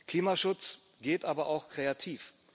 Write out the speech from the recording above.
Klimaschutz geht aber auch kreativ.